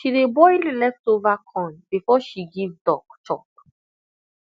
she dey boil leftover corn before she give duck chop